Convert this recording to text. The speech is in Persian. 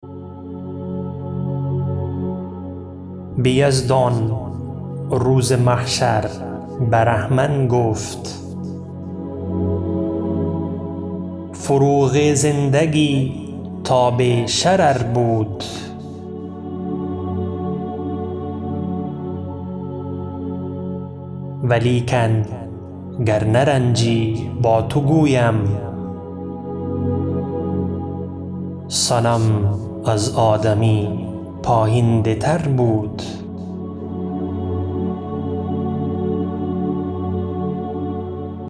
به یزدان روز محشر برهمن گفت فروغ زندگی تاب شرر بود ولیکن گر نرنجی با تو گویم صنم از آدمی پاینده تر بود